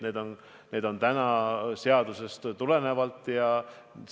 Need on täna seadusest tulenevad võimalused.